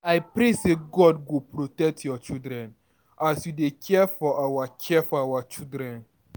I pray sey God go protect your children as you dey care for our care for our children.